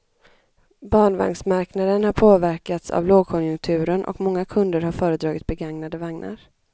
Barnvagnsmarknaden har påverkats av lågkonjunkturen och många kunder har föredragit begagnade vagnar.